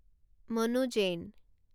মানো জেইন